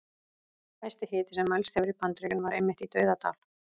Hæsti hiti sem mælst hefur í Bandaríkjunum var einmitt í Dauðadal.